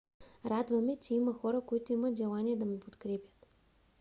радва ме че има хора които имат желание да ме подкрепят